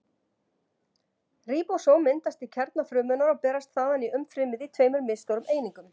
Ríbósóm myndast í kjarna frumunnar og berast þaðan í umfrymið í tveimur misstórum einingum.